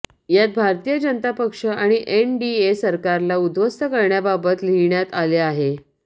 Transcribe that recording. यात भारतीय जनता पक्ष आणि एनडीए सरकारला उद्ध्वस्त करण्याबाबत लिहिण्यात आले आहे